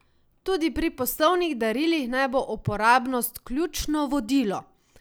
Tudi pri poslovnih darilih naj bo uporabnost ključno vodilo.